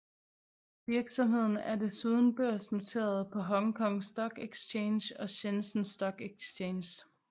Virksomheden er desuden børsnoteret på Hong Kong Stock Exchange og Shenzhen Stock Exchange